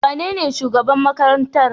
Wanene shugaban makarantar?